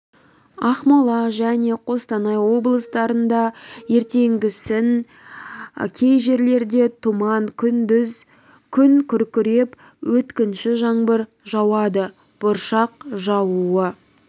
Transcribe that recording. ақмола және қостанай облыстарында ертеңгісін кей жерлерде тұман күндіз күн күркіреп өткінші жаңбыр жауады бұршақ жаууы